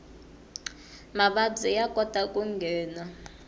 mavabyi ya kota ku nghena